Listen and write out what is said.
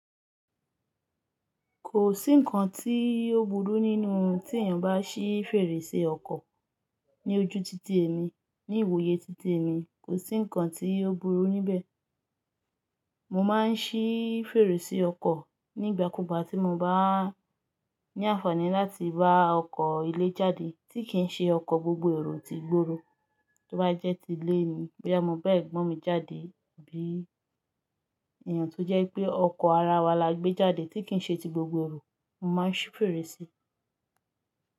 Kò sí ǹkan tí ó burú nínú tí ènìyàn bá ṣí fèrèsé ọkọ̀ ní ojú títí èmi, ní ìwòye títí èmi. Kò sí ǹkan tí ó burú níbẹ̀. Mo máa ń ṣí fèrèsé ọkọ̀ nígbàkúùgbà tí mo bá ní àǹfààní láti bá ọkọ̀ ilé jáde tí kì í ṣe ọkọ̀ gbogbo èrò ti gbòòrò, tí ó bá jẹ́ ti lé èmi. Boyà mọ́ bẹ́ẹ̀ gbọ́n mi jáde tabí èèyàn tó jẹ́ pé ọkọ̀ ara wa la gbé jáde tí kì í ṣe ti gbogbo èrò. Mo máa ń ṣí fèrèsé.